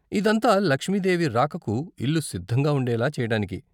ఇదంతా, లక్ష్మీ దేవి రాకకు ఇల్లు సిద్ధంగా ఉండేలా చేయటానికి.